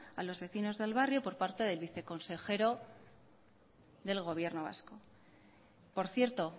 a los vecinos del barrio por parte del viceconsejero del gobierno vasco por cierto